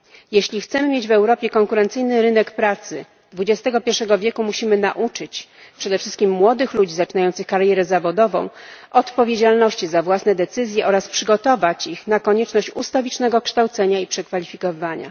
Jeśli chcemy mieć w Europie konkurencyjny rynek pracy dwudziestego pierwszego wieku, musimy przede wszystkim nauczyć młodych ludzi zaczynających karierę zawodową odpowiedzialności za własne decyzje oraz przygotować ich na konieczność ustawicznego kształcenia i przekwalifikowywania.